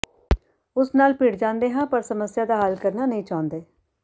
ਉਸ ਨਾਲ ਭਿੜ ਜਾਂਦੇ ਹਾਂ ਪਰ ਸਮੱਸਿਆ ਦਾ ਹੱਲ ਕਰਨਾ ਨਹੀਂ ਚਾਹੁੰਦੇ